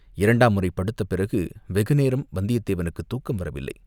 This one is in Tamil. இரண்டாம் முறை படுத்த பிறகு வெகு நேரம் வந்தியத் தேவனுக்குத் தூக்கம் வரவில்லை.